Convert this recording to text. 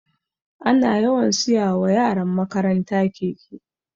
Ana yawan siya wa yaran makaranta keke